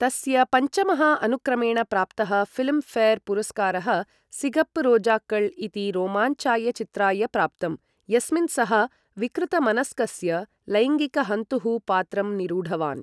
तस्य पञ्चमः अनुक्रमेण प्राप्तः फिल्म् फेर् पुरस्कारः सिगप्प् रोजाक्कळ् इति रोमाञ्चाय चित्राय प्राप्तं, यस्मिन् सः विकृतमनस्कस्य लैङ्गिकहन्तुः पात्रं निरूढवान्।